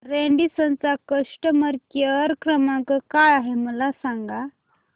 Radisson चा customer care क्रमांक काय आहे मला सांगा